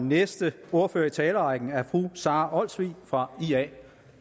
næste ordfører i talerrækken er fru sara olsvig fra ia